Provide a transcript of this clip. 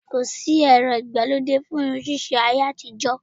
Ko sì ẹ̀rọ ìgbà lóde fún irun ṣíṣe láyé àtijó